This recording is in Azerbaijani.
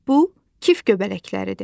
Bu kif göbələkləridir.